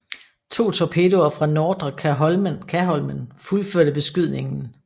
To torpedoer fra Nordre Kaholmen fuldførte beskydningen